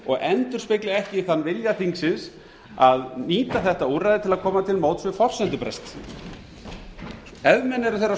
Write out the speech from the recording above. og endurspegli ekki þann vilja þingsins að nýta þetta úrræði til að koma til móts við forsendubrest ef menn eru þeirrar skoðunar